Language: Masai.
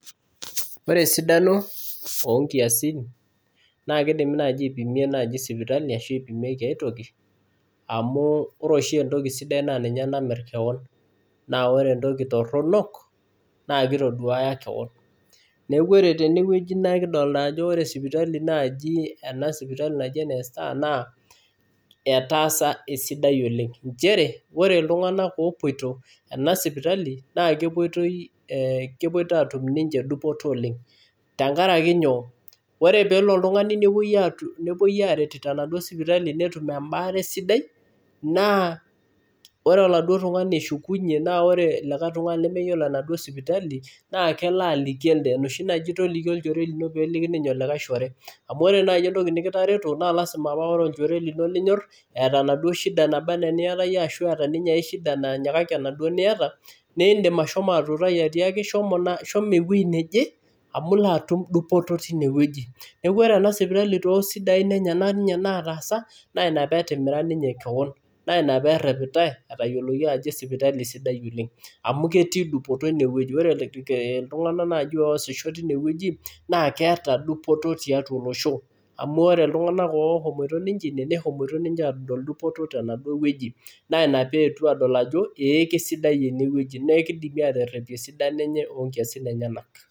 Ore esidano oo nkiasin naa kidimi naaji aipimie naaji sipitali ashu ipimieki aitoki amu ore oshi entoki sidai naa ninye namirr kewan. Naa ore entoki torrono naa kitoduaya keon. Neeku ore tenewueji naa kidolita ajo ore sipitali naa enkaji ena e sipitali naji ene Star naa etaasa esidai oleng. Nchere, ore iltung'anak opwoito ena sipitali naa kepwoitoi, kepwoito aatum ninche dupoto oleng tenkaraki nyoo, ore peelo oltung'ani nepwoi aaret tenaduo sipitali netum embaare sidai, naa ore oladuo tung'ani eshukunye naa ore olikae tung'ani lemeyiolo enaduo sipitali naa kelo aliki elde. Enoshi naji toliki olchore lino peeliki ninye olikae shore. Amu ore naai entoki nekitareto naa lazima naa ore olchore lino linyorr eeta enaduo shida naba enaa eniata iyie ashu eeta ninye ae shida nanyikaki enaduo niata, niindim ashomo atuutai atiaki shomo ewuei neje amu ilo atum dupoto tinewueji. Neeku ore ena sipitali too sidain enyenak ninye nataasa, naa ina peetimira ninye keon. Naa ina peerrepitae, etayioloki ajo sipitali sidai oleng amu ketii dupoto inewueji. Ore iltung'anak oosisho naaji tinewueji naa keeta dupoto tiatwa olosho amu ore iltung'anak oshomoito ninche ine, neshomoito aadol dupoto tenaduo wueji naa ina peetwo adol ajo ee kesidai enewueji naa kidimi aaterrepie esidano enye oo nkiasin enyenak